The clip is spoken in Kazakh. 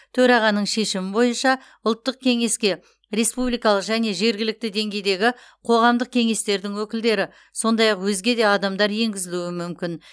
төрағаның шешімі бойынша ұлттық кеңеске республикалық және жергілікті деңгейдегі қоғамдық кеңестердің өкілдері сондай ақ өзге де адамдар енгізілуі мүмкін